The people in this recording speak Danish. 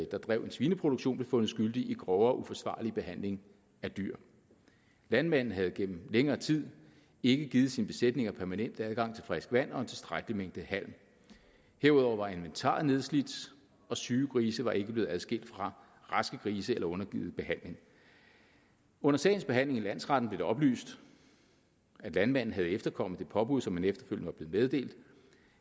der drev en svineproduktion blev fundet skyldig i grovere uforsvarlig behandling af dyr landmanden havde gennem længere tid ikke givet sine besætninger permanent adgang til frisk vand og en tilstrækkelig mængde halm herudover var inventaret nedslidt og syge grise var ikke blevet adskilt fra raske grise eller undergivet behandling under sagens behandling i landsretten blev det oplyst at landmanden havde efterkommet det påbud som han efterfølgende var blevet meddelt